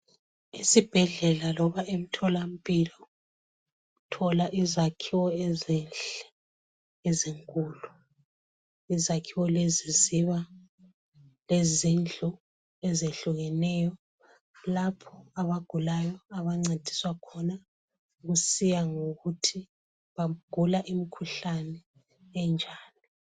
Isibhedlela loba emtholampilo uthola izakhiwo ezinhle ezinkulu. Izakhiwo lezi ziba lezindlu ezehlukeneyo lapho abagulayo abancediswa khona kusiya ngokuthi bagula imkhuhlane enjani.